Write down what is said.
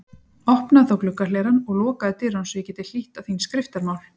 Opnaðu þá gluggahlerann og lokaðu dyrunum svo ég geti hlýtt á þín skriftamál.